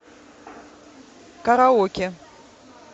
караоке